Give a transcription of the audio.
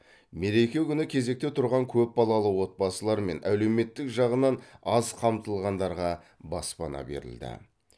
мереке күні кезекте тұрған көп балалы отбасылар мен әлеуметтік жағынан аз қамтылғандарға баспана берілді